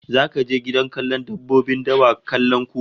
Zaka je gidan kallon dabbobin dawa kallon kura?